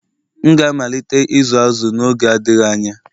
M ga-amalite ịzụ azu n'oge adịghị anya